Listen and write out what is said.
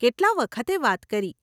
કેટલાં વખતે વાત કરી.